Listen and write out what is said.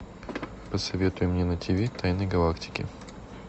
посоветуй мне на тв тайны галактики